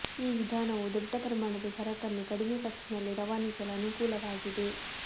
ಈ ವಿಧಾನವು ದೊಡ್ಡ ಪ್ರಮಾಣದ ಸರಕನ್ನು ಕಡಿಮೆ ಖರ್ಚಿನಲ್ಲಿ ರವಾನಿಸಲು ಅನುಕೂಲವಾಗಿದೆ